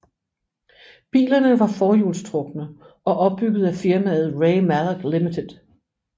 Bilerne var forhjulstrukne og opbygget af firmaet Ray Mallock Limited